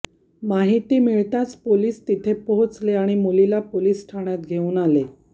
माहिती मिळताच पोलीस तिथे पोहोचले आणि मुलीला पोलीस ठाण्यात घेऊन आले